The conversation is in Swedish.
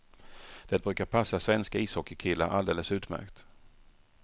Det brukar passa svenska ishockeykillar alldeles utmärkt.